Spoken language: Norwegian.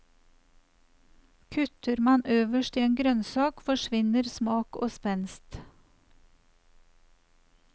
Kutter man øverst i en grønnsak, forsvinner smak og spenst.